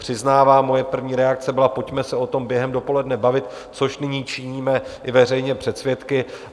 Přiznávám, moje první reakce byla: pojďme se o tom během dopoledne bavit - což nyní činíme i veřejně před svědky.